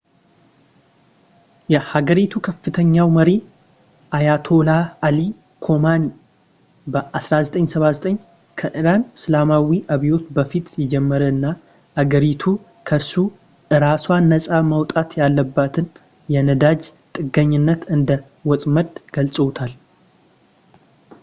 የሀገሪቱ ከፍተኛው መሪ አያቶላህ አሊ ኮሚኒ በ1979 ከኢራን እስላማዊ አብዮት በፊት የጀመረ እና አገሪቱ ከርሱ እራሷን ነጻ ማውጣት ያለባትን የነዳጅ ጥገኝነት እንደ ወጥመድ ገልፀውታል